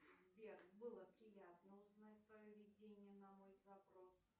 сбер было приятно узнать твое видение на мой запрос